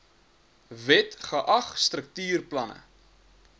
wet geag struktuurplanne